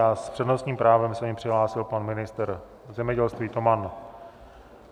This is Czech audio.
S s přednostním právem se mi přihlásil pan ministr zemědělství Toman.